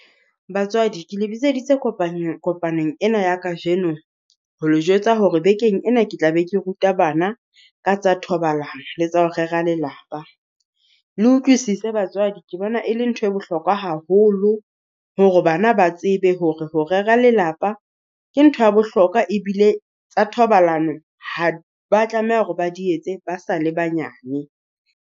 Batswadi ke le bitseditse kopanyo kopanong ena ya kajeno ho le jwetsa hore bekeng ena ke tla be ke ruta bana ka tsa thobalano, le tsa ho rera Lelapa. Le utlwisise batswadi ke bona e le ntho e bohlokwa haholo hore bana ba tsebe hore ho rera lelapa ke ntho ya bohlokwa, ebile tsa thobalano ha ba tlameha hore ba di etse ba sa le banyane.